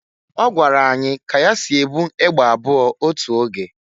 Ọgwara anyị ka ya si e bu egbe abụọ otu oge.